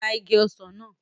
Ra igi ọsàn náà!